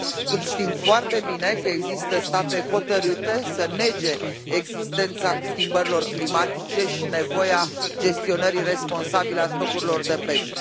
când știm foarte bine că există state hotărâte să nege existența schimbărilor climatice și nevoia gestionării responsabile a stocurilor de pește.